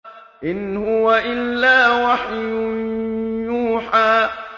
إِنْ هُوَ إِلَّا وَحْيٌ يُوحَىٰ